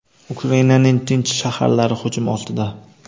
Ukrainaning tinch shaharlari hujum ostida.